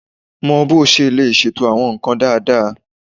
Mọ bó o ṣe lè ṣètò àwọn nǹkan dáadáa